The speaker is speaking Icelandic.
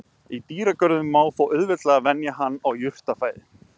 Í dýragörðum má þó auðveldlega venja hann á jurtafæði.